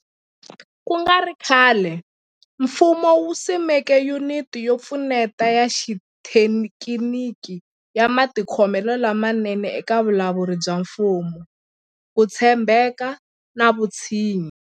Ku nga ri khale, mfumo wu simeke Yuniti yo Pfuneta ya Xithekiniki ya Matikhomelo lamanene eka Vulawuri bya Mfumo, Ku tshembeka na Vutshinyi.